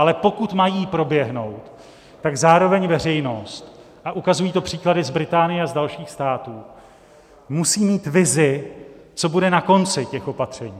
Ale pokud mají proběhnout, tak zároveň veřejnost - a ukazují to příklady z Británie a z dalších států - musí mít vizi, co bude na konci těch opatření.